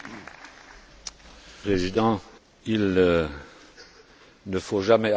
Monsieur le Président, il ne faut jamais arrêter le progrès lorsqu'il est en marche.